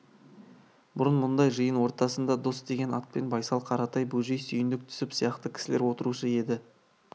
бұрын мұндай жиын ортасында дос деген атпен байсал қаратай бөжей сүйіндік түсіп сияқты кісілер отырушы еді